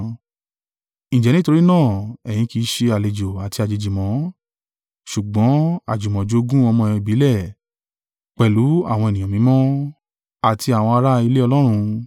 Ǹjẹ́ nítorí náà ẹ̀yin kì í ṣe àlejò àti àjèjì mọ́, ṣùgbọ́n àjùmọ̀jogún ọmọ ìbílẹ̀ pẹ̀lú àwọn ènìyàn mímọ́, àti àwọn ará ilé Ọlọ́run;